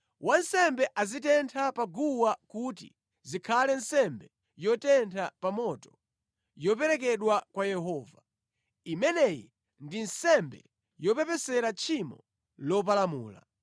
Wansembe azitenthe pa guwa kuti zikhale nsembe yotentha pa moto, yoperekedwa kwa Yehova. Imeneyi ndi nsembe yopepesera tchimo lopalamula.